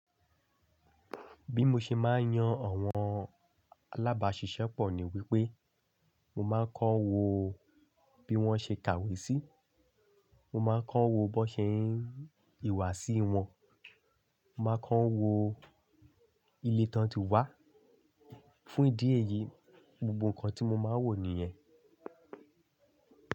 Bí mo ṣe máa ń yan àwọn alábàáṣiṣẹ́pọ̀ ni wípé, mo máa ń kọ wo bí wón ṣe kàwé sí, mo máa ń kọ wo bó ṣe ń ìwà sí wọn, mo máa kọ wo ilé tán tí wá. Fún ìdí èyí, gbogbo nǹkan tí mo máa ń wò nìyẹn.